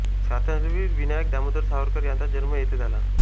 स्वातंत्र्यवीर विनायक दामोदर सावरकर यांचा जन्म येथे झाला